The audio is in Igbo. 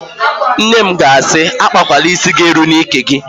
Nne m ga-asị, "akpakwala ísí ga-eru gị n'íkè"!